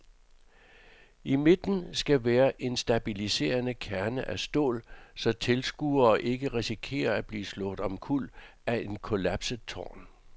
I midten skal være en stabiliserende kerne af stål, så tilskuere ikke risikerer at blive slået omkuld af et kollapset tårn.